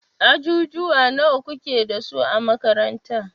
Ajujuwa nawa kuke dasu a makaranta?